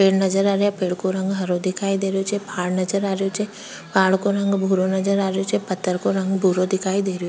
पेड़ नजर आ रया पेड़ को रंग हरो दिखाई दे रही छे पहाड़ नजर आ रही छे पहाड़ का रंग भूरो नजर आ रही छे पत्थर को रंग भूरो दिखाई दे --